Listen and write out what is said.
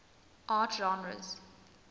art genres